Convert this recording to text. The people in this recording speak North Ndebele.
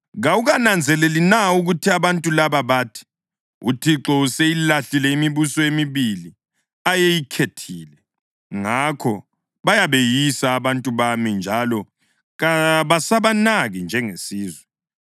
“Kawukananzeleli na ukuthi abantu laba bathi, ‘ UThixo useyilahlile imibuso emibili ayeyikhethile’? Ngakho bayabeyisa abantu bami njalo kabasabanaki njengesizwe.